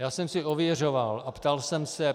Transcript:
Já jsem si ověřoval a ptal jsem se.